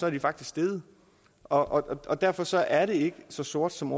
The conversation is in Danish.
er de faktisk steget og derfor så er det ikke så sort som